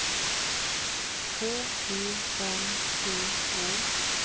K E N T H